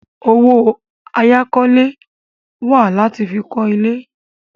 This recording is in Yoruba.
Owó àyákọ́lé wà láti fi kọ́ ilé.